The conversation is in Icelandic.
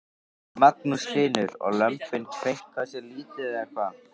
Magnús Hlynur: Og lömbin kveinka sér lítið eða hvað?